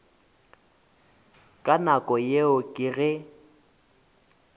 ka nako yeo ke ge